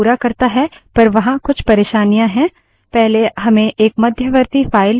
पहले हमें एक मध्यवर्ती file files dot टीएक्सटी चाहिए